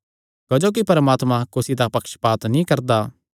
क्जोकि परमात्मा कुसी दा पक्षपात नीं करदा